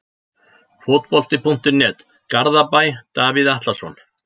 Fótbolti.net, Garðabæ- Davíð Atlason.